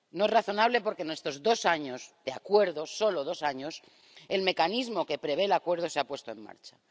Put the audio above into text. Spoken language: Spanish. No es razonable porque, en estos dos años de Acuerdo —solo dos años—, el mecanismo que prevé el Acuerdo se ha puesto en marcha